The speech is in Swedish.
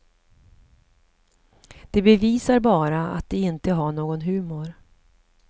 Det bevisar bara att de inte har någon humor.